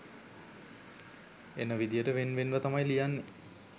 එන විදියට වෙන් වෙන්ව තමයි ලියන්නේ.